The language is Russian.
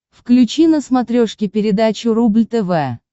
включи на смотрешке передачу рубль тв